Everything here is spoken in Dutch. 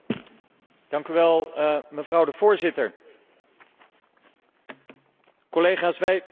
Collega's, wij zitten midden in een financiëel economische crisis en daar kunnen wij onmogelijk aan voorbij.